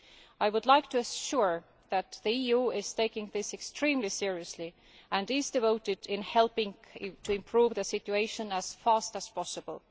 I would like to assure them that the EU is taking this extremely seriously and is devoted to helping to improve the situation as fast as possible.